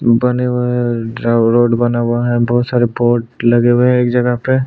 बने हुए है रोड बना हुआ है बहोत सारे बोट लगे हुए है एक जगह पे--